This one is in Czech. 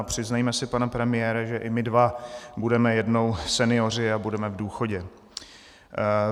A přiznejme si, pane premiére, že i my dva budeme jednou senioři a budeme v důchodě.